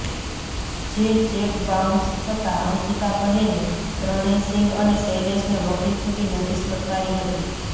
જે cheque bounce થતા અંકિતાબહેને પ્રણયસિંગ અને શૈલેષને વકીલ થકી નોટિસ ફટકારી હતી